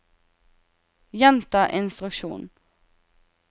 gjenta instruksjon